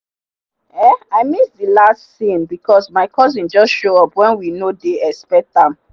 um i miss the last scene because my cousin just show up when we no dey expect am.